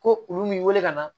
Ko olu m'i wele ka na